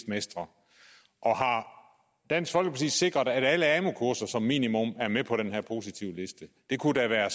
mestre har dansk folkeparti sikret at alle amu kurser som minimum er med på den her positivliste det kunne da være